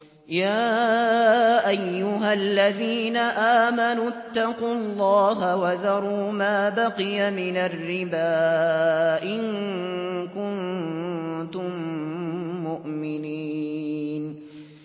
يَا أَيُّهَا الَّذِينَ آمَنُوا اتَّقُوا اللَّهَ وَذَرُوا مَا بَقِيَ مِنَ الرِّبَا إِن كُنتُم مُّؤْمِنِينَ